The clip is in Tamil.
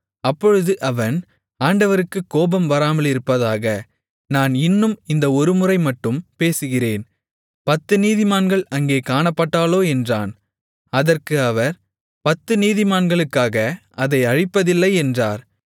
அப்பொழுது அவன் ஆண்டவருக்குக் கோபம் வராமலிருப்பதாக நான் இன்னும் இந்த ஒருமுறை மட்டும் பேசுகிறேன் பத்து நீதிமான்கள் அங்கே காணப்பட்டாலோ என்றான் அதற்கு அவர் பத்து நீதிமான்களுக்காக அதை அழிப்பதில்லை என்றார்